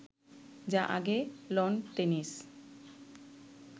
যা আগে lawn tennis